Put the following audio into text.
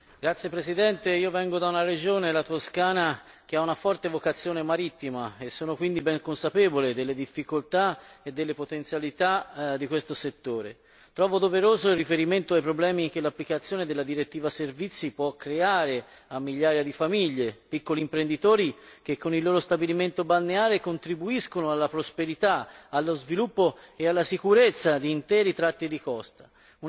Signor Presidente, onorevoli colleghi, io vengo da una regione, la Toscana, che ha una forte vocazione marittima e sono quindi ben consapevole delle difficoltà e delle potenzialità di questo settore. Trovo doveroso il riferimento ai problemi che l'applicazione della direttiva Servizi può creare a migliaia di famiglie, piccoli imprenditori che con il loro stabilimento balneare contribuiscono alla prosperità, allo sviluppo e alla sicurezza di interi tratti di costa